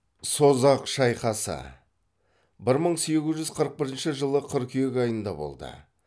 созақ шайқасы бір мың сегіз жүз қырық бірінші жылы қыркүйек айында болды